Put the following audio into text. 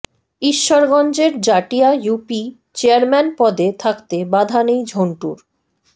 ঈশ্বরগঞ্জের Jatia UP chairman পদে থাকতে বাধা নেই ঝন্টুর